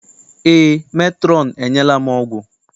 Eé, metrọn enyela m ọgwụ.